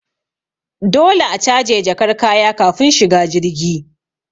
Dole a caje jakar kaya kafin shiga jirgi